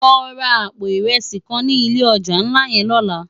Lò rá àpó irèsi kán ni ilé òjá nlá yèn lòlá